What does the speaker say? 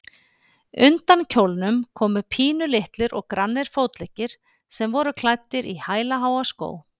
Undan kjólnum komu pínulitlir og grannir fótleggir sem voru klæddir í hælaháa skó.